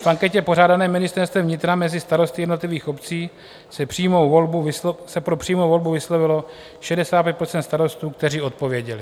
V anketě pořádané Ministerstvem vnitra mezi starosty jednotlivých obcí se pro přímou volbu vyslovilo 65 % starostů, kteří odpověděli.